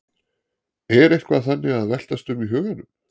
Er eitthvað þannig að veltast um í huganum?